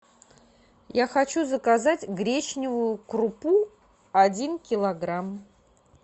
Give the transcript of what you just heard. я хочу заказать гречневую крупу один килограмм